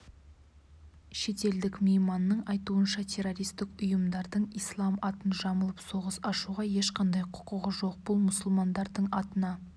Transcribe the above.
шетелдік мейманның айтуынша террористік ұйымдардың ислам атын жамылып соғыс ашуға ешқандай құқығы жоқ бұл мұсылмандардың атына